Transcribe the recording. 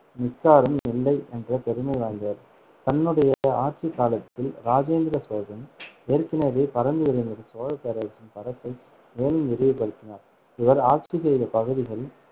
மிக்காரும் இல்லை என்ற பெருமை வாய்ந்தவர் தன்னுடைய ஆட்சிக் காலத்தில் இராஜேந்திர சோழன் ஏற்கனவே பரந்து விரிந்த சோழப் பேரரசின் பரப்பை மேலும் விரிவுபடுத்தினார். இவர் ஆட்சி செய்த பகுதிகள்